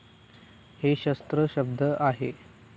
हे शस्त्र शब्द आहे.